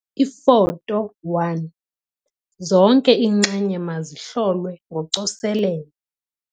Ifoto 1- Zonke iinxenye mazihlolwe ngocoselelo.